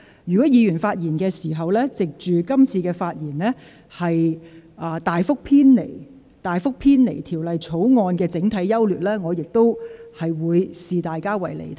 如果議員藉今次機會，在發言時大幅偏離有關《條例草案》的整體優劣，我亦會視之為離題。